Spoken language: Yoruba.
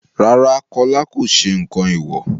Rárá, Kọ́lá kò sẹ nǹkan èèwò.